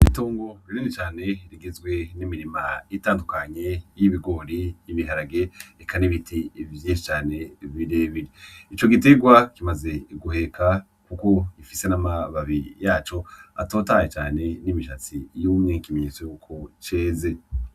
Itungo rinini cane rigizwe n'imirima itandukanye y'ibigori, ibiharage, eka n'ibiti vyinshi cane bire bire. Ico giterwa kimaze guheka kuko gifise n'amababi yaco atotaye cane n'imishatsi yumye, ikimenyetso yuko ceze.